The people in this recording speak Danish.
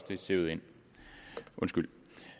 det er sivet ind undskyld